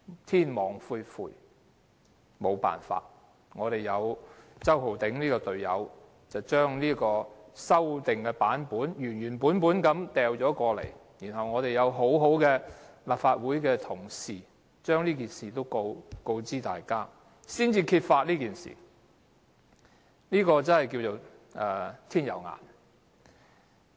天網恢恢，沒有辦法，周浩鼎議員這名隊友將修訂版本原原本本交出來，幸好立法會同事亦把這事告知大家，因而揭發這事，可說是"天有眼"。